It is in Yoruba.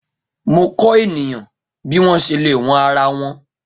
Mo kọ eniyan bi wọn ṣe le wọn ara wọn.